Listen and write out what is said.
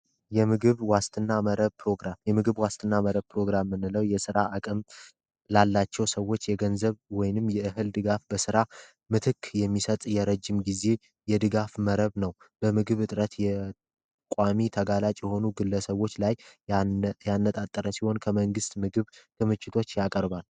የምግብ ዋስትና መረብ ፕሮግራም የምግብ ዋስትና መረብ ፕሮግራም የምንለው የስራ አቅም ላላቸው ሰዎች በገንዘብ ወይም በምግብ ድጋፍ ምትክ ስራ የሚሰጥ የረጅም ጊዜ መረብ ነው በምግብ እጥረት ቋሚ የተጋላጭ የሆኑ ግለሰቦች ላይ ያነጣጠረ ሲሆን ከመንግስት ምግብ ክምችቶች ያቀርባል።